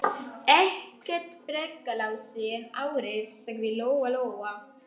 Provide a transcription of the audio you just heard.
Ekkert frekar Lási en aðrir, sagði Lóa-Lóa.